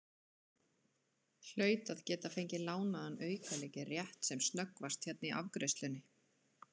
Hlaut að geta fengið lánaðan aukalykil rétt sem snöggvast hérna í afgreiðslunni.